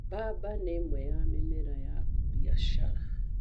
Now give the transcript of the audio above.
Mbamba nĩ ĩmwe ya mĩmera ya mbiacara.